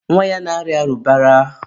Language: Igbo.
nwa ya na-arịa arụbara.